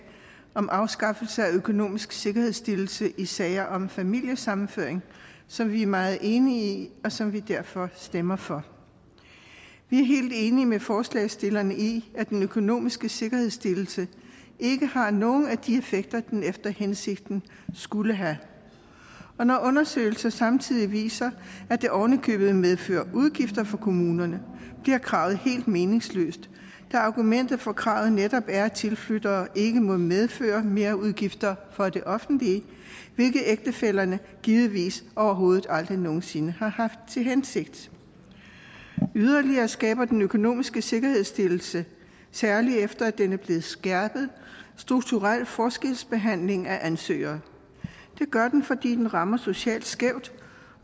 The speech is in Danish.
om afskaffelse af økonomisk sikkerhedsstillelse i sager om familiesammenføring som vi er meget enige i og som vi derfor stemmer for vi er helt enige med forslagsstillerne i at den økonomiske sikkerhedsstillelse ikke har nogen af de effekter den efter hensigten skulle have og når undersøgelser samtidig viser at det oven i købet medfører udgifter for kommunerne bliver kravet helt meningsløst da argumentet for kravet netop er at tilflyttere ikke må medføre merudgifter for det offentlige hvilket ægtefællerne givetvis overhovedet aldrig nogen sinde har haft til hensigt yderligere skaber den økonomiske sikkerhedsstillelse særlig efter den er blevet skærpet strukturel forskelsbehandling af ansøgere det gør den fordi den rammer socialt skævt